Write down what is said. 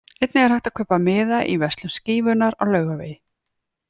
Einnig er hægt að kaupa miða í verslun Skífunnar á Laugavegi.